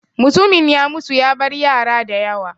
Mutumin ya mutu ya bar yara da yawa.